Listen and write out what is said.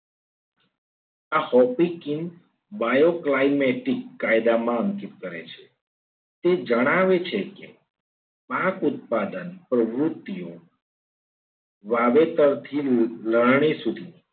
આ ભૌતિક કી વાયુ cliamatic કાયદામાં અંકિત કરે છે તે જણાવે છે ક પાક ઉત્પાદન પ્રવૃત્તિઓ વાવેતરથી લણનીસુધી